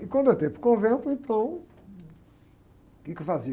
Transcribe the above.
E quando eu entrei para o convento, então, o quê que eu fazia?